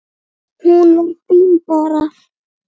Hún var fín bara.